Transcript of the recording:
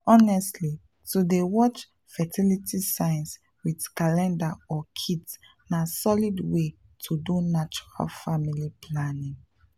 honestly to dey watch fertility signs with calendar or kit na solid way to do natural family planning.